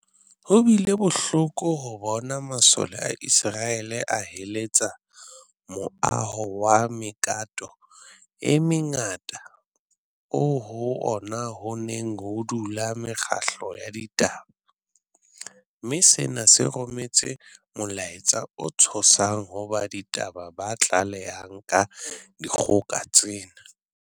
Ho bile bohloko ho bona masole a Iseraele a heletsa moaho wa mekato e mengata oo ho ona ho neng ho dula mekgatlo ya ditaba, mme sena se rometse molaetsa o tshosang ho ba ditaba ba tlalehang ka dikgoka tsena.